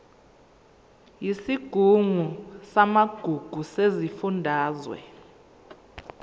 yesigungu samagugu sesifundazwe